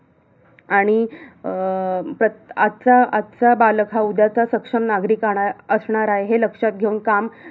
आणि अं प्रत आजचा, आजचा बालक हा उद्याचा सक्षम नागरिक आणाय असणार आहे हे लक्षात घेऊन काम